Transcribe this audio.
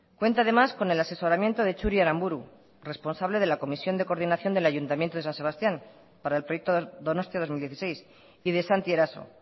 cuenta además con el asesoramiento de txuri aranburu responsable de la comisión de coordinación del ayuntamiento de san sebastián para el proyecto donostia dos mil dieciséis y de santi eraso